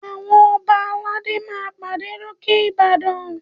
Àwọn Ọba aládé máa pàdé lókè Ìbàdàn